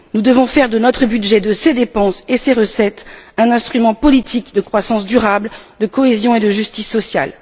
Nous devons faire de notre budget, de ses dépenses et ses recettes, un instrument politique de croissance durable, de cohésion et de justice sociale.